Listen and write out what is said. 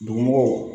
Dugumɔgɔw